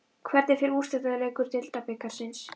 Hvernig fer úrslitaleikur Deildabikarsins?